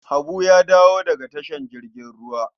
Habu ya dawo daga tashar jirgin ruwa.